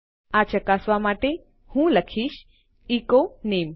આ ચકાસવા માટે હું લખીશ એચો નામે